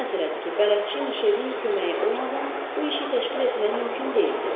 Aydın məsələdir ki, bələdçi Mişelin köməyi olmadan bu işi təşkil etmək mümkün deyildi.